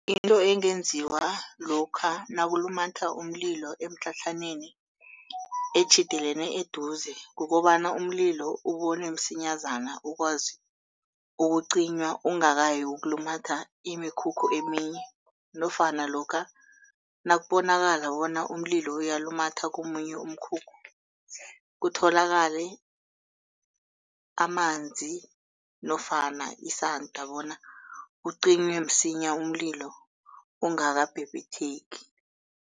Into engenziwa lokha nakulumatha umlilo emitlhatlhaneni etjhidelene eduze. Kukobana umlilo ubonwe msinyazana ukwazi ukucinywa ungakayi yokulumatha imikhukhu eminye nofana lokha nakubonakala bona umlilo uyalumatha komunye umkhukhu kutholakale amanzi nofana isanda bona ucinywe msinya umlilo ungakabhebhetheki.